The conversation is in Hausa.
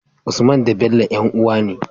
Usman da Bello yan uwa ne